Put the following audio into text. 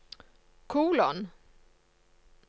kolon